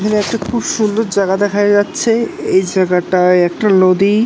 এখানে একটি খুব সুন্দর জায়গা দেখা যাচ্ছেএই জায়গাটায় একটা নদী - ই --